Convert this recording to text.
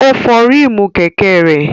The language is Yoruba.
Ó fọ ríìmù kẹ̀kẹ́ rẹ̀.